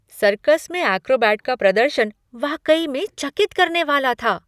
Circus में acrobat का प्रदर्शन वाकई में चकित करने वाला था!